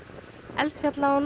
eldfjalla og